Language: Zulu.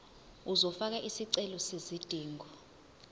uzofaka isicelo sezidingo